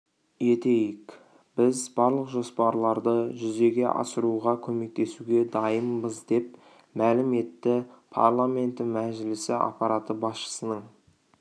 етейік біз барлық жоспарларды жүзеге асыруға көмектесуге дайынбыз деп мәлім етті парламенті мәжілісі аппараты басшысының